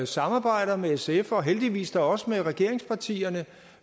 samarbejder med sf og heldigvis da også med regeringspartierne